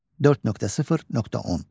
4.0.10.